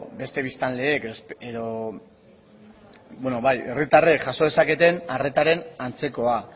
beste biztanleek edo herritarrek jaso dezaketen arretaren antzekoa